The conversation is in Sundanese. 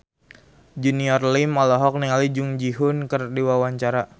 Junior Liem olohok ningali Jung Ji Hoon keur diwawancara